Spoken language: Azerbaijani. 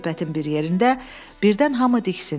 Söhbətin bir yerində birdən hamı diksindi.